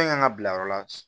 ka bila yɔrɔ la